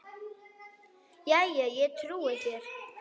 Jæja, ég trúi þér.